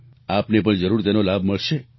આપને પણ જરૂર તેનો લાભ મળશે